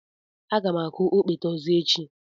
Aga m akụ okpete ọzọ echi.